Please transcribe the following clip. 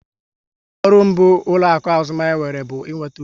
Ọrụ mbụ ụlọaku azụmahịa nwere bụ ị nweta uru